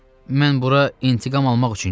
Mən bura intiqam almaq üçün gəlmişəm.